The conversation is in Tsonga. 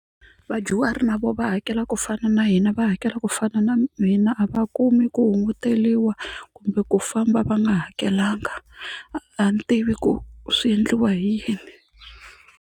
Vadyuhari na vo va hakela ku fana na hina va hakela ku fana na hina a va kumi ku hunguteliwa kumbe ku famba va nga hakelanga a ni tivi ku swi endliwa hi yini.